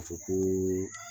Ka fɔ ko